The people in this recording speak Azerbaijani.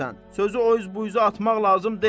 Sözü o üz bu üzə atmaq lazım deyil.